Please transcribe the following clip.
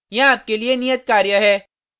यहाँ आपके लिए नियत कार्य है